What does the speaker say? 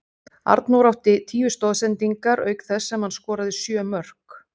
Arnór átti tíu stoðsendingar auk þess sem hann skoraði sjö mörk.